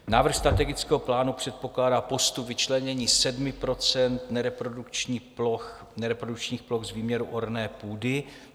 Návrh strategického plánu předpokládá postup vyčlenění 7 % nereprodukčních ploch z výměru orné půdy.